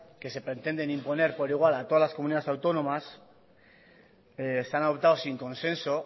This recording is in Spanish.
que se pretenden imponer por igual a todas las comunidades autónomas se han adoptado sin consenso